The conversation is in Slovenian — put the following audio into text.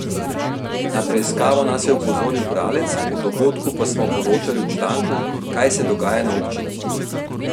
Na preiskavo nas je opozoril bralec, o dogodku pa smo poročali v članku Kaj se dogaja na občini?